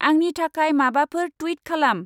आंंनि थाखाय माबाफोर टुइट खालाम।